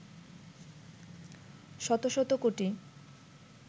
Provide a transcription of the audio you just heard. শত শত কোটি